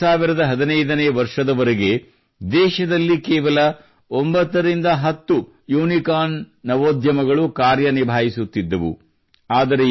2015ನೇ ವರ್ಷದವರೆಗೆ ದೇಶದಲ್ಲಿ ಅಷ್ಟೇನೂ ಅಂದರೆ ಕೇವಲ 9ರಿಂದ 10 ಯೂನಿಕಾರ್ನ್ ನವೋದ್ಯಮಗಳು ಕಾರ್ಯ ನಿಭಾಯಿಸುತ್ತಿದ್ದವು